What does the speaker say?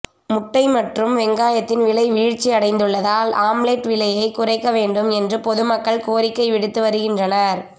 முட்டை மற்றும் வெங்காயத்தின் விலை வீழ்ச்சி அடைந்துள்ளதால் ஆம்லெட் விலையை குறைக்க வேண்டும் என்று பொதுமக்கள் கோரிக்கை விடுத்து வருகின்றனர்